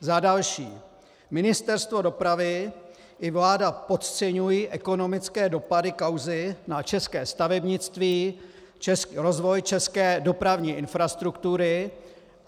Za další, Ministerstvo dopravy i vláda podceňují ekonomické dopady kauzy na české stavebnictví, rozvoj české dopravní infrastruktury.